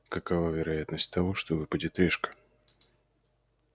какова вероятность того что выпадет решка